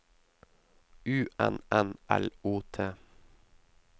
U N N L O T